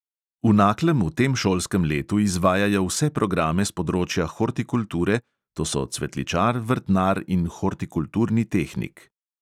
V naklem v tem šolskem letu izvajajo vse programe s področja hortikulture, to so cvetličar, vrtnar in hortikulturni tehnik.